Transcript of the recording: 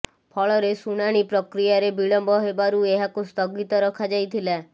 ଫଳରେ ଶୁଣାଣି ପ୍ରକ୍ରିୟାରେ ବିଳମ୍ବ ହେବାରୁ ଏହାକୁ ସ୍ଥଗିତ ରଖାଯାଇଥିଲା